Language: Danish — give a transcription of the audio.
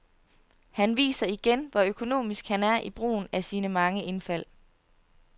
Han viser igen, hvor økonomisk han er i brugen af sine mange indfald.